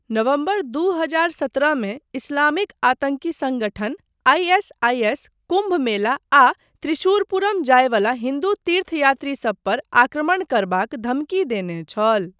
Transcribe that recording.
नवम्बर दू हजार सत्रहमे इस्लामिक आतंकी सङ्गठन आइ.एस.आइ.एस. कुम्भ मेला आ त्रिशुरपूरम जाय वला हिन्दू तीर्थयात्री सभ पर आक्रमण करबाक धमकी देने छल।